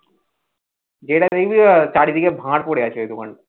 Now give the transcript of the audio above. যেটা দেখবি চারিদিকে ভাঁড় পরে আছে ওই দোকানটা